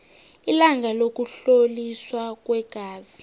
ilanga lokuhloliswa kweengazi